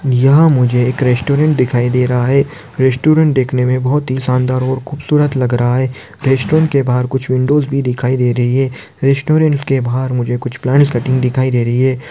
यहा मुझे एक रेस्टॉरन्ट दिखाई दे रहा है रेस्टॉरन्ट दिखने मे बहुत ही शानदार और खूबसूरत लग रहा है रेस्टॉरन्ट के बाहर कुछ विंडोज़ भी दिखाई दे रही है रेस्टॉरन्ट के बाहर मुझे कुछ प्लांट्स कटिंग दिखाई दे रही है।